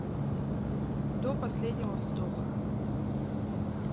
до последнего вздоха